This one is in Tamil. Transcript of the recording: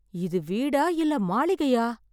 இது வீடா இல்லை மாளிகையா!